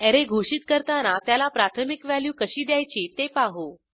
array घोषित करताना त्याला प्राथमिक व्हॅल्यू कशी द्यायची ते पाहू